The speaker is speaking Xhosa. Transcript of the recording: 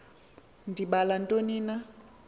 ndibala ntoni na